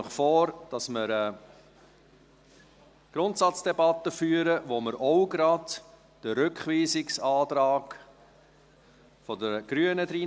Ich schlage Ihnen vor, dass wir eine Grundsatzdebatte führen, in die wir auch gleich den Rückweisungsantrag der Grünen mit reinnehmen.